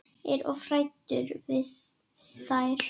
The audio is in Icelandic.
Er of hræddur við þær.